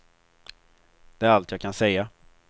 Det är allt jag kan säga.